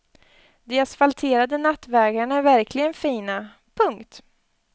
De asfalterade nattvägarna är verkligen fina. punkt